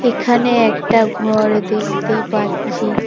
এখানে একটা ঘর দেখতে পাচ্ছি।